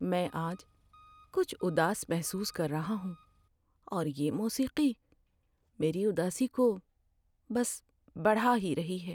میں آج کچھ اداس محسوس کر رہا ہوں اور یہ موسیقی میری اداسی کو بس بڑھا ہی رہی ہے۔